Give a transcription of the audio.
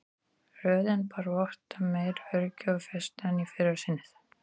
Röddin bar vott um meiri öryggi og festu en í fyrra sinnið.